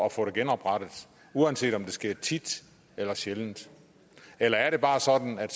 at få det genoprettet uanset om det sker tit eller sjældent eller er det bare sådan at